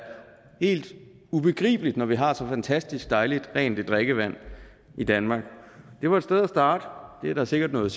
helt ubegribeligt når vi har så fantastisk dejligt rent et drikkevand i danmark det var et sted at starte det er der sikkert noget